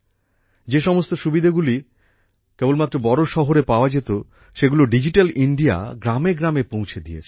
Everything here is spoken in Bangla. যে সমস্ত সুবিধাগুলি কেবলমাত্র বড় শহরে পাওয়া যেত সেগুলো ডিজিটাল ইন্ডিয়া গ্রামে গ্রামে পৌঁছে দিয়েছে